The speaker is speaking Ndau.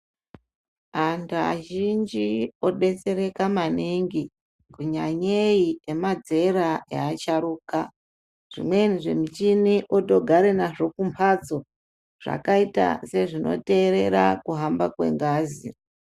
Vantu vazhinji vodetsereka maningi nyanyeyei ngema zera easharuka zvimweni zvimuchini votogara nazvo kumbatso zvakaita sezvinoterera kuhamba kwengazi .